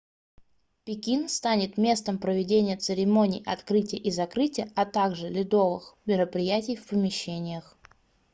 пекин станет местом проведения церемоний открытия и закрытия а также ледовых мероприятий в помещениях